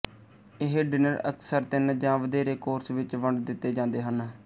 ਇਹ ਡਿਨਰ ਅਕਸਰ ਤਿੰਨ ਜਾਂ ਵਧੇਰੇ ਕੋਰਸ ਵਿੱਚ ਵੰਡ ਦਿੱਤੇ ਜਾਂਦੇ ਹਨ